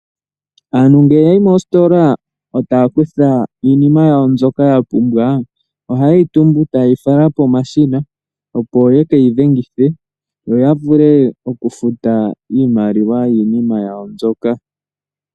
Aantu ngele yayi moostola etaya kutha iinima yawo mbyoka ya pumbwa, oha yeyi tumbu eta yeyi fala pomashina, opo yekeyi dhengithe, yo yavulw oku futa iimaliwa yiinima yawo mbyoka.